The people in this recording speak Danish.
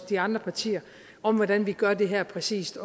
de andre partier om hvordan vi gør det her præcist